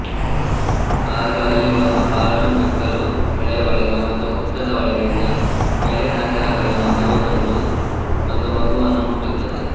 ಆಗ ಅಲ್ಲಿ ಒಂದು ಪಾಳುಬೆಕ್ಕಲು ಮೆಳೆಯೊಳಗೆ ಒಂದು ಹುತ್ತದ ಒಳಗಿಂದ ಎಳೆ ನಾಗರಹಾವಿನ ಮರಿ ಬಂದು ಒಂದು ಮಗುವನ್ನು ಮುಟ್ಟುತ್ತದೆ